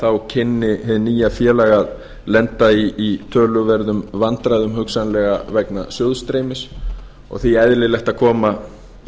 þá kynni hið nýja félag að lenda í töluverðum vandræðum hugsanlega vegna sjóðsstreymis og því eðlilegt að